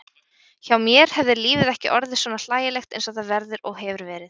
Hjá mér hefði lífið ekki orðið svona hlægilegt einsog það verður og hefur verið.